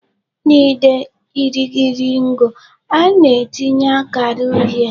N'ide irighiri ngụ, a na-etinye akara uhie.